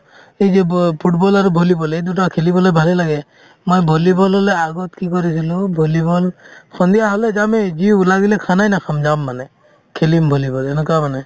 এই যে ব football আৰু volleyball এই দুটা খেলিবলৈ ভালে লাগে মই volleyball হ'লে আগত কি কৰিছিলো volleyball সন্ধিয়া হ'লে যামেই যিও লাগিলে khana ই নাখাম যাম মানে খেলিম volleyball এনেকুৱা মানে